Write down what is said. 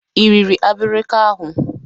Ị riri abirika ahụ?